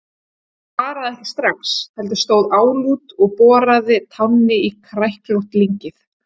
Hún svaraði ekki strax, heldur stóð álút og boraði tánni í kræklótt lyngið.